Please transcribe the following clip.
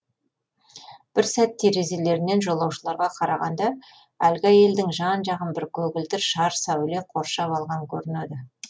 бір сәт терезелерінен жолаушыларға қарағанда әлгі әйелдің жан жағын бір көгілдір шар сәуле қоршап алған көрінеді